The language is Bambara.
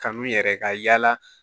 Kanu yɛrɛ ka yaala